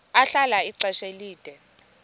ahlala ixesha elide